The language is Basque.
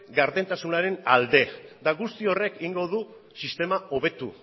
gardentasunaren alde eta guzti horrek egingo du sistema hobetu